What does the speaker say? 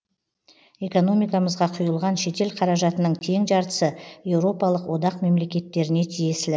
экономикамызға құйылған шетел қаражатының тең жартысы еуропалық одақ мемлекеттеріне тиесілі